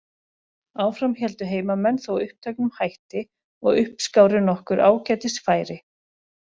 Áfram héldu heimamenn þó uppteknum hætti og uppskáru nokkur ágætis færi.